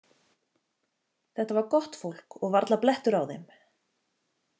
Þetta var gott fólk og varla blettur á þeim.